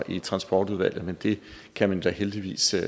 i transportudvalget men det kan man da heldigvis